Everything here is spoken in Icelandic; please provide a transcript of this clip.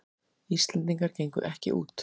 Íslendingar gengu ekki út